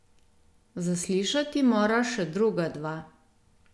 Zaslišati mora še druga dva.